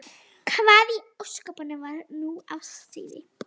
Hvað í ósköpunum var nú á seyði?